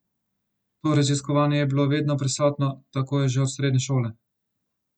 To raziskovanje je bilo vedno prisotno, tako je že od srednje šole.